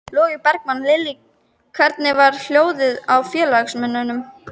Logi Bergmann: Lillý, hvernig var hljóðið í félagsmönnum?